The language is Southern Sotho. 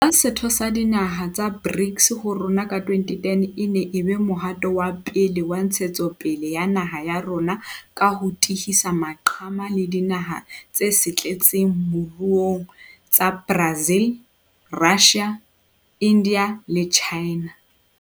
Ho ba setho sa dinaha tsa BRICS ha rona ka 2010 e ne e be mohato o pele wa ntshetsongpele ya naha ya rona ka ho tihisa maqhama le dinaha tse setletseng mo ruong tsa Brazil, Russia, India le China.